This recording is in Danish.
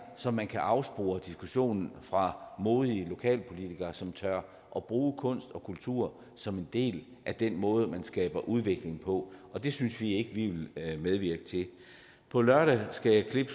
så man kan afspore diskussionen fra modige lokalpolitikere som tør bruge kunst og kultur som en del af den måde man skaber udvikling på det synes vi ikke vi vil medvirke til på lørdag skal jeg